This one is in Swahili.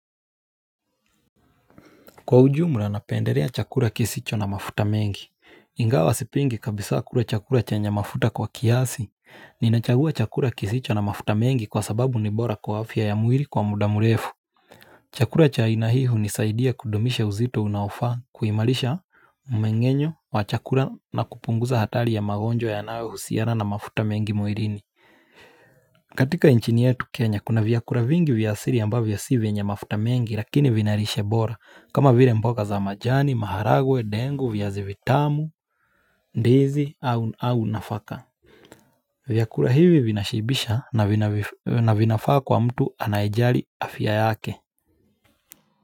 Kwa ujumla napendelea chakula kisicho na mafuta mengi. Ingawa sipingi kabisa kula chakula chenye mafuta kwa kiasi. Ninachagua chagua kisicho na mafuta mengi kwa sababu ni bora kwa afya ya mwili kwa mudamurefu. Chakula cha aina hii hunisaidia kudumishe uzito unaofaa kuimalisha umengenyo wa chakula na kupunguza hatari ya magonjwa yanayo husiana na mafuta mengi mwilini. Katika nchini yetu kenya kuna vyakula vingi vyasiri ambavyo si venye mafuta mengi lakini vinarishe bora kama vire mboka za majani, maharagwe, dengu, viazi vitamu, ndizi au nafaka vyakula hivi vina shibisha na vinafaa kwa mtu anaejari afya yake.